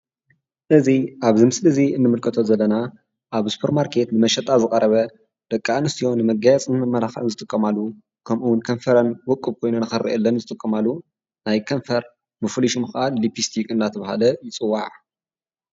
እዚ ኣብዚ ምስሊ እዚ ንምልከቶ ዘለና ኣብ ሱፐር ማርኬት ንመሸጣ ዝቐረበ ደቂ ኣንስትዮ ንመጋየፅን ንመመላክዕን ዝጥቀማሉ ከምኡውን ከንፈረን ውቁብ ኮይኑ ንኽርአየለን ዝጥቀማሉ ናይ ከንፈር ብፍሉይ ሽሙ ከዓ ሊፒስቲክ እናተባህለ ይፅዋዕ፡፡